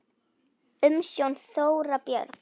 Umsjón: Þóra Björg.